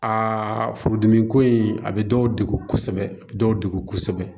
Aa furudimi ko in a bɛ dɔw degu kosɛbɛ a bɛ dɔw degu kosɛbɛ